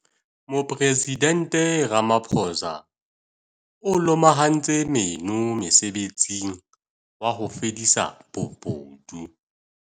Mopresidente Ramaphosa o lomahantse meno mosebetsing wa ho fedisa bobodu.